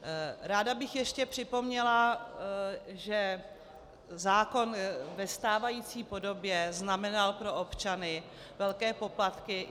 Ráda bych ještě připomněla, že zákon ve stávající podobě znamenal pro občany velké poplatky.